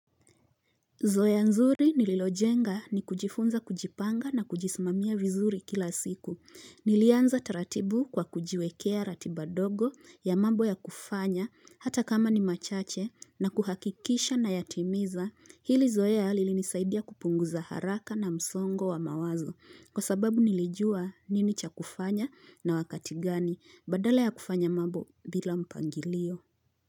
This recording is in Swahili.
Zoea nzuri nililojenga ni kujifunza kujipanga na kujismamia vizuri kila siku. Nilianza taratibu kwa kujiwekea ratiba dogo ya mambo ya kufanya hata kama ni machache na kuhakikisha na yatimiza. Hili zoea lili nisaidia kupunguza haraka na msongo wa mawazo. Kwa sababu nilijua nini cha kufanya na wakati gani badala ya kufanya mambo bila mpangilio.